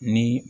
Ni